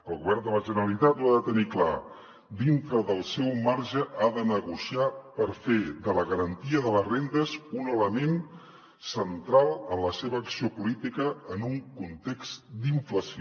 el govern de la generalitat ho ha de tenir clar dintre del seu marge ha de negociar per fer de la garantia de les rendes un element central en la seva acció política en un context d’inflació